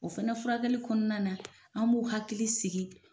O fɛnɛ furakɛli kɔnɔna na an b'o hakili sigi